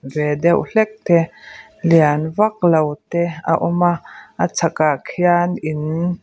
ve deuh hlek te lian vak lo te a awm a a chhakah khian in--